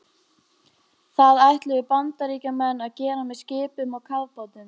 Það ætluðu Bandaríkjamenn að gera með skipum og kafbátum.